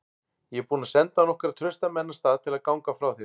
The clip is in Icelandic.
Ég er búinn að senda nokkra trausta menn af stað til að ganga frá þér.